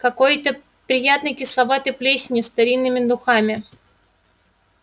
какой-то приятной кисловатой плесенью старинными духами